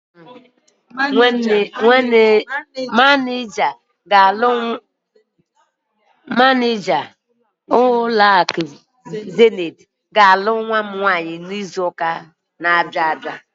Manịja nke ụlọakụ Zenith ga-alụ nwa m n'izuụka ọ̀zọ́.